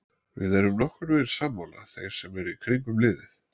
Við erum nokkurnveginn sammála þeir sem eru í kringum liðið.